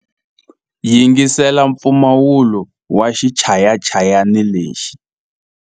Yingisela mpfumawulo wa xichayachayani lexi.